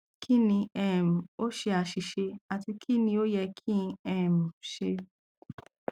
kini um o ṣe aṣiṣe ati kini o yẹ ki n um ṣe